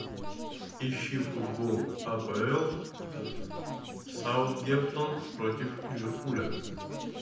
ищи футбол апл саутгемптон против ливерпуля